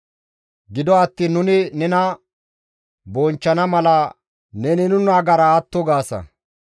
Gido attiin nuni nena bonchchana mala neni nu nagara atto gaasa.